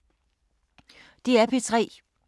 DR P3